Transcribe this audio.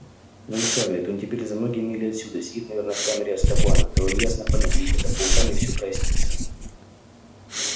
но ведь хагрид он теперь за многие мили отсюда сидит наверное в камере азкабана дал им ясно понять идите за пауками и всё прояснится